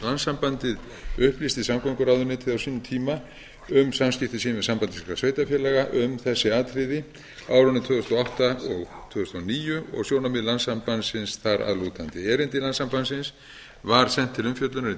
landssambandið upplýsti samgönguráðuneytið á sínum tíma um samskipti sín við samband íslenskra sveitarfélaga um þessi atriði á árunum tvö þúsund og átta og tvö þúsund og níu og sjónarmið landssambandsins þar að lútandi erindi landssambandsins var sent til umfjöllunar í